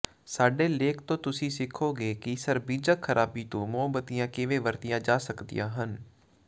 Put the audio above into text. ਸਾਡੇ ਲੇਖ ਤੋਂ ਤੁਸੀਂ ਸਿੱਖੋਗੇ ਕਿ ਸਰਬਿਜ਼ਕ ਖਰਾਬੀ ਤੋਂ ਮੋਮਬੱਤੀਆਂ ਕਿਵੇਂ ਵਰਤੀਆਂ ਜਾ ਸਕਦੀਆਂ ਹਨ